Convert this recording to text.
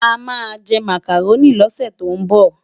Amá jè Mákáróni lòsè tó nbò